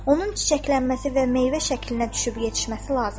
Onun çiçəklənməsi və meyvə şəklinə düşüb yetişməsi lazımdır.